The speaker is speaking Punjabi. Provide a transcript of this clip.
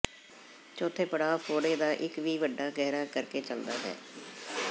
ਚੌਥੇ ਪੜਾਅ ਫੋੜੇ ਦਾ ਇੱਕ ਵੀ ਵੱਡਾ ਗਹਿਰਾ ਕਰ ਕੇ ਚੱਲਦਾ ਹੈ